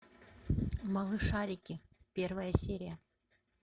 малышарики первая серия